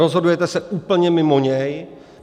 Rozhodujete se úplně mimo něj.